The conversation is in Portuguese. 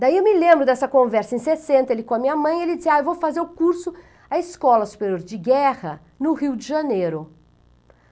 Daí eu me lembro dessa conversa em sessenta, ele com a minha mãe, ele disse, ah, eu vou fazer o curso, a Escola Superior de Guerra no Rio de Janeiro.